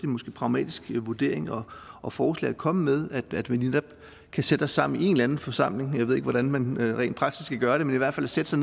måske pragmatisk vurdering og forslag at komme med at vi netop kan sætte os sammen i en eller anden forsamling jeg ved ikke hvordan man rent praktisk skal gøre det men i hvert fald sætte